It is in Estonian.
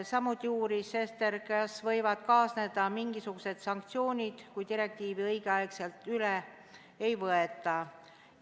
Samuti uuris Sester, kas võivad kaasneda mingisugused sanktsioonid, kui direktiivi õigel ajal üle ei võeta.